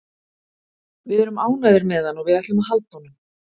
Við erum ánægðir með hann og við ætlum að halda honum.